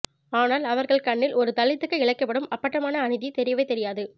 ஆனால் அவர்கள் கண்ணில் ஒரு தலித்துக்கு இழைக்கப்படும் அப்பட்டமான அநீதி தெரியவேதெரியாது